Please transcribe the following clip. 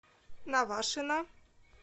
навашино